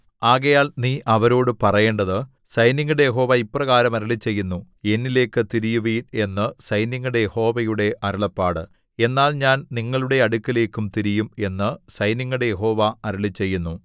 ആകയാൽ നീ അവരോടു പറയേണ്ടത് സൈന്യങ്ങളുടെ യഹോവ ഇപ്രകാരം അരുളിച്ചെയ്യുന്നു എന്നിലേക്കു തിരിയുവിൻ എന്നു സൈന്യങ്ങളുടെ യഹോവയുടെ അരുളപ്പാട് എന്നാൽ ഞാൻ നിങ്ങളുടെ അടുക്കലേക്കും തിരിയും എന്നു സൈന്യങ്ങളുടെ യഹോവ അരുളിച്ചെയ്യുന്നു